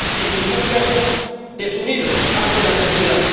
En ningún caso, desunidos ante la adversidad.